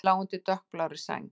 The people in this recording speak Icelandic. Pabbi lá undir dökkblárri sæng.